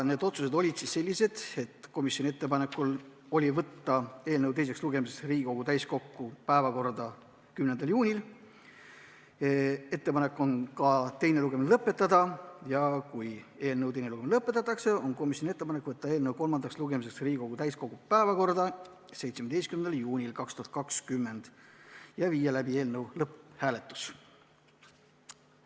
Need otsused olid komisjoni ettepanekul sellised: võtta eelnõu teiseks lugemiseks Riigikogu täiskogu päevakorda 10. juuniks, teine lugemine lõpetada ja kui eelnõu teine lugemine lõpetatakse, on komisjoni ettepanek võtta eelnõu kolmandaks lugemiseks Riigikogu täiskogu päevakorda 17. juuniks 2020 ja viia siis läbi ka eelnõu lõpphääletus.